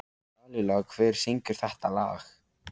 Lalíla, hver syngur þetta lag?